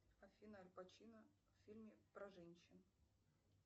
афина аль пачино в фильме про женщин